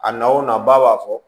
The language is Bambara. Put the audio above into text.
A na o na ba b'a fɔ